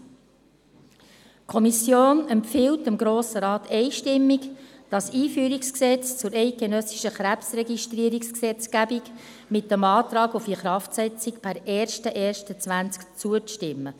Die Kommission empfiehlt dem Grossen Rat einstimmig, das EG KRG mit dem Antrag auf Inkraftsetzung per 01.01.2020 zuzustimmen.